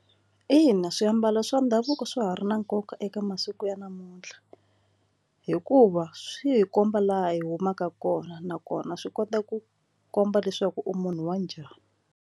Ina, swiambalo swa ndhavuko swa ha ri na nkoka eka masiku ya namuntlha hikuva swi hi komba laha hi humaka kona nakona swi kota ku komba leswaku u munhu wa njhani.